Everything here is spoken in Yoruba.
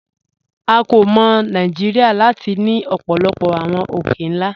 À kò mọ̀ Nàìjíríà láti ni ọ̀pọ̀lọ̀pọ̀ awọn òkè-nlá.